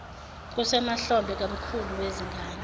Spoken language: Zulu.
kusemahlombe kamkhulu wezingane